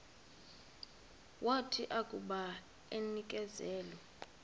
wathi akuba enikezelwe